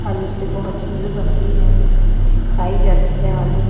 आलू से बहुत चीज़े बनती हैं खाई जाती हैं आलू।